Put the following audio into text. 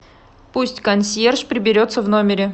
пусть консьерж приберется в номере